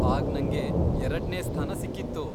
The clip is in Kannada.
ಆಗ್ ನಂಗೆ ಎರಡ್ನೇ ಸ್ಥಾನ ಸಿಕ್ಕಿತ್ತು.